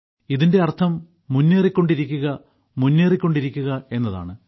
ഇതിന്റെ അർത്ഥം മുന്നേറികൊണ്ടിരിക്കുക മുന്നേറികൊണ്ടിരിക്കുക എന്നതാണ്